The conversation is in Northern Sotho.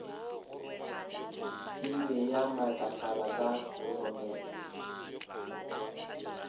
ile ya matlafala ka roromela